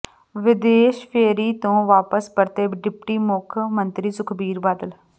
ਵਿਦੇਸ਼ ਫੇਰੀ ਤੋਂ ਵਾਪਸ ਪਰਤੇ ਡਿਪਟੀ ਮੁੱਖ ਮੰਤਰੀ ਸੁਖਬੀਰ ਬਾਦਲ